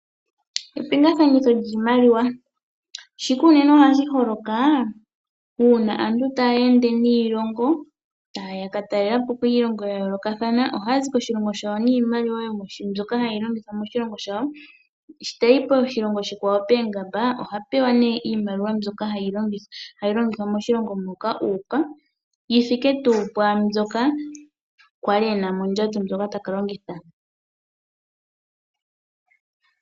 Epingakanitho lyiimaliwa ohali unene holoka uuna aantu taa ka talelapo iilongo okuza kiilongo yawo, sho tayi poongamba ohapewa nee iimaliwa yoshilongo moka uuka, yithike tuu pu mbyoka a li e na mondjato.